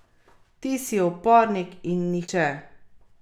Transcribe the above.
Ti si upornik in niče.